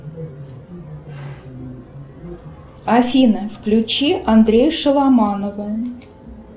афина включи андрея шаломанова